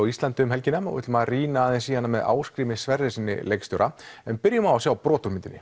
á Íslandi um helgina og við ætlum að rýna aðeins í hana með Ásgrími Sverrissyni leikstjóra en byrjum á að sjá brot úr myndinni